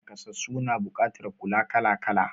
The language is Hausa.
Nakasassu na buƙatar kula kala kala